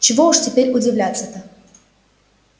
чего уж теперь удивляться-то